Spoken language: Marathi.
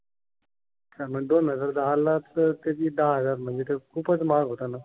हा पण दोन हजार दहा ला तर किती दहा हजार म्हणजे खूपच महाग होता ना.